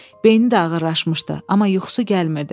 Beyni də ağırlaşmışdı, amma yuxusu gəlmirdi.